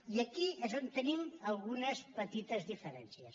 i aquí és on tenim algunes petites diferències